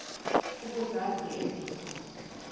ukuzazi ezi zinto